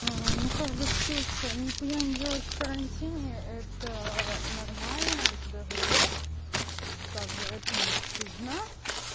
ну как бы ксюша нихуя не делать в карантине это нормально даже ок как бы это не стыдно